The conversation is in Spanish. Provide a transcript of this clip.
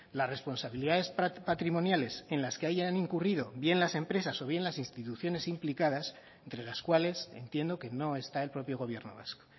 las responsabilidades patrimoniales en las que hayan incurrido bien las empresas o bien las instituciones implicadas entre las cuales entiendo que no está el propio gobierno vasco